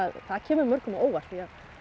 það kemur mörgum á óvart því að